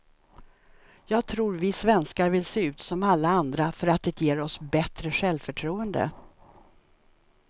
Jag tror vi svenskar vill se ut som alla andra för att det ger oss bättre självförtroende.